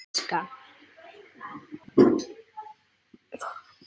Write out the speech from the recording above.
Þóra Kristín: Sem sagt ekki?